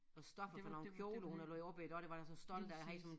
Og stoffet fra nogle kjoler hun havde lavet op ad iggå det var jeg så stolt af havde det sådan